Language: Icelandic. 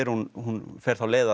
hún hún fer þá leið